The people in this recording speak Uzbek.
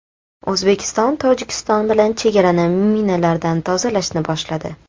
O‘zbekiston Tojikiston bilan chegarani minalardan tozalashni boshladi.